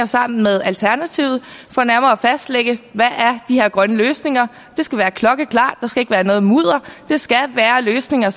sammen med alternativet for nærmere at fastlægge hvad de her grønne løsninger det skal være klokkeklart der skal ikke være noget mudder det skal være løsninger